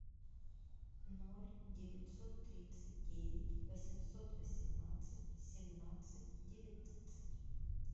ноль девятьсот тридцать девять восемьсот восемнадцать семнадцать девятнадцать